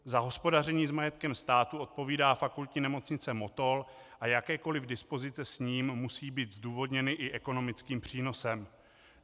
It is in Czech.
Za hospodaření s majetkem státu odpovídá Fakultní nemocnice Motol a jakékoliv dispozice s ním musí být zdůvodněny i ekonomickým přínosem.